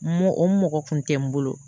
Mɔ o mɔgɔ kun tɛ n bolo